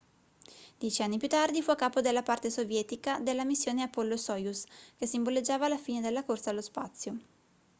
dieci anni più tardi fu a capo della parte sovietica della missione apollo-soyuz che simboleggiava la fine della corsa allo spazio